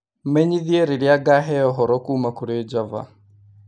menyithie rĩrĩa ngaheo ũhoro kuuma kũrĩ Java